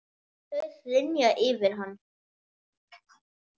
Þau hrynja yfir hann.